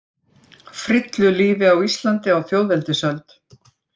Frillulífi á Íslandi á þjóðveldisöld.